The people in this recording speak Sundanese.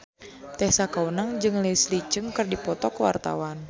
Tessa Kaunang jeung Leslie Cheung keur dipoto ku wartawan